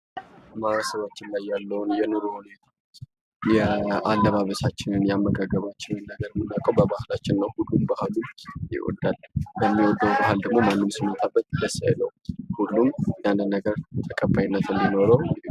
ማህበረሰባችን ላይ ያለዉን የኑሮ ሁኔታ አለባበሳችንን፣ አመጋገባችንን የምናዉቀዉ በባህላችን ነዉ። ሁሉም ባህሉን ይወዳል። በሚወደዉ ባህል ማንም ሰዉ ቢመጣበት ደስ አይለዉም። ያንን ነገር ተቀባይነት እንዲኖረዉ .....